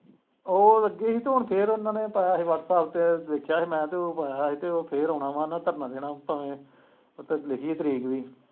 ਉਹ ਲੱਗੇ ਸੀ ਤੇ ਹੁਣ ਫਿਰ ਉਹਨਾਂ ਨੇ ਪਾਇਆ ਸੀ ਵਾਟਸੈਪ ਤੇ ਵੇਖਿਆ ਸੀ ਮੈਂ ਤੇ ਉਹ ਪਾਇਆ ਸੀ ਤੇ ਉਹ ਫਿਰ ਆਉਣਾ ਵਾਂ ਧਰਨਾ ਦੇਣਾ ਉੱਥੇ ਉੱਥੇ ਲਿਖੀ ਤਰੀਕ ਵੀ।